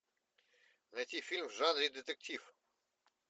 найти фильм в жанре детектив